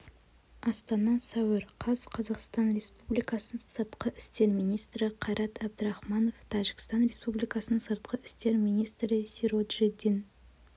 астана сәуір қаз қазақстан республикасының сыртқы істер министрі қайрат әбдірахманов тәжікстан республикасының сыртқы істер министрі сироджиддин